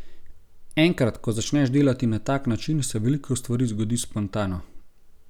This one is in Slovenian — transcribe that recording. Enkrat, ko začneš delati na tak način, se veliko stvari zgodi spontano.